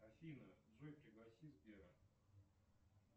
афина джой пригласи сбера